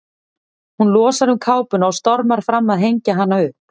Hún losar um kápuna og stormar fram að hengja hana upp.